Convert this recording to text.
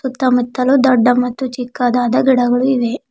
ಸುತ್ತ ಮುತ್ತಲೂ ದೊಡ್ಡ ಮತ್ತು ಚಿಕ್ಕದಾದ ಗಿಡಗಳು ಇವೆ.